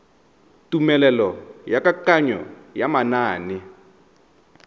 tumelelo ya kananyo ya manane